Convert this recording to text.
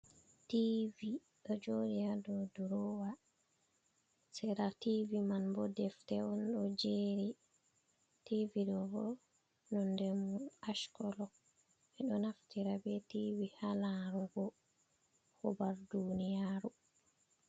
TV, do jooɗi ha dau durowa sera TV man bo defte on do jeeri. TV do bo nonnde mon ash kolo ɓe do naftira be TV ha larugo hubar duniyaru.